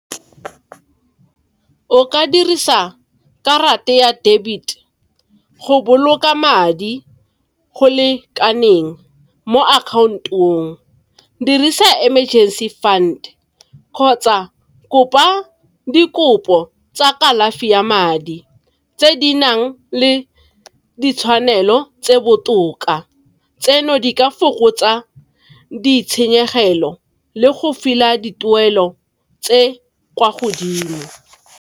O ka dirisa karata ya debit go boloka madi go lekaneng mo account-ong. Dirisa emergency fund kgotsa kopa dikopo tsa kalafi ya madi tse di nang le ditshwanelo tse botoka tseno di ka fokotsa ditshenyegelo le go dituelo tse kwa godimo.